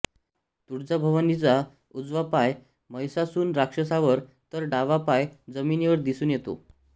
तुळजाभवानीचा उजवा पाय महिषासून राक्षसावर तर डावा पाय जमिनीवर दिसून येतो